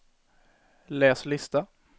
läs lista